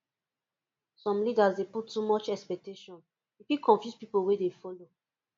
some leaders dey put too much expectation e fit confuse pipo wey dey follow